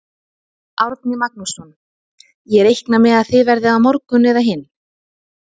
Árni Magnússon: Ég reikna með að það verði á morgun eða hinn?